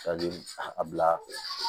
a bila